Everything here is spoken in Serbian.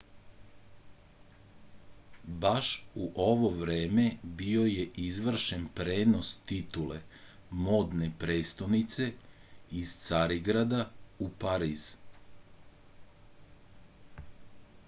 baš u ovo vreme bio je izvršen prenos titule modne prestonice iz carigrada u pariz